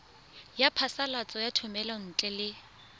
ya phasalatso ya thomelontle le